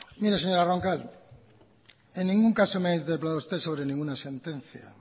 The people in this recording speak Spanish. mire señora roncal en ningún caso me ha interpelado usted sobre ninguna sentencia